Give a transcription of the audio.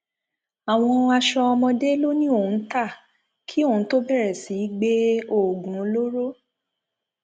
àwọn aṣọ ọmọdé ló ní òun ń ta kí òun tóó bẹrẹ sí í gbé oògùn olóró